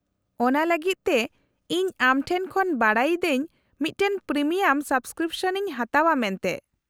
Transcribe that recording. -ᱚᱱᱟ ᱞᱟᱹᱜᱤᱫ ᱛᱮ ᱤᱧ ᱟᱢ ᱴᱷᱮᱱ ᱠᱷᱚᱱ ᱵᱟᱰᱟᱭ ᱤᱫᱟᱹᱧ ᱢᱤᱫᱴᱟᱝ ᱯᱨᱤᱢᱤᱭᱟᱢ ᱥᱟᱵᱠᱨᱤᱯᱥᱚᱱ ᱤᱧ ᱦᱟᱛᱟᱣᱼᱟ ᱢᱮᱱᱛᱮ ᱾